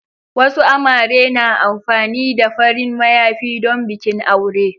Wasu amare na amfani da farin mayafi don bikin aure.